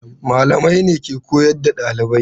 Malamai ne ke koyar da ɗalibai.